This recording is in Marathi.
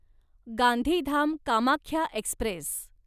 गांधीधाम कामाख्या एक्स्प्रेस